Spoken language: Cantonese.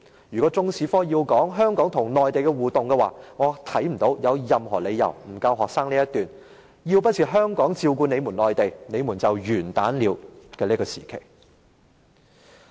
如果中史科要涉及香港與內地的互動關係，我看不到任何理由不向學生教授，曾經出現"要不是香港人照顧內地人，內地人就完蛋"的時期的歷史。